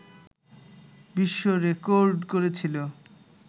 বিশ্ব রেডর্ক করেছিলো